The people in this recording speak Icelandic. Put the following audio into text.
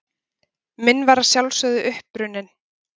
Minn var að sjálfsögðu uppruninn.